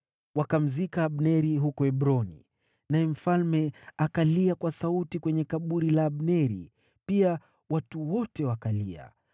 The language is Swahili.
Wakamzika Abneri huko Hebroni, naye mfalme akalia kwa sauti kwenye kaburi la Abneri. Pia watu wote wakalia.